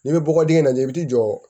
N'i bɛ bɔgɔ dingɛ lajɛ i b'i jɔ